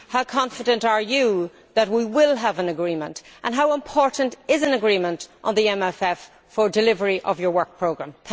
How confident are you that we will have an agreement, and how important is an agreement on the MFF for delivery of your work programme?